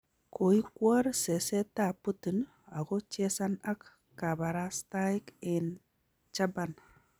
Koikwor seset ab Putin ako chesan ak kabarastaik eng chaban